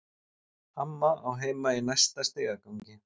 Amma á heima í næsta stigagangi.